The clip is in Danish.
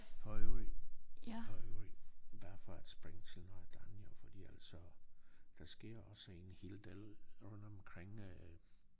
For øvrigt for øvrigt bare for at springe til noget andet jo fordi altså der sker også en hel del rundt omkring øh